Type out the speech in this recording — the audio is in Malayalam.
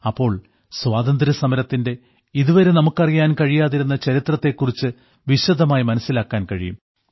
അപ്പോൾ സ്വാതന്ത്ര്യസമരത്തിന്റെ ഇതുവരെ നമുക്ക് അറിയാൻ കഴിയാതിരുന്ന ചരിത്രത്തെ കുറിച്ച് വിശദമായി മനസ്സിലാക്കാൻ കഴിയും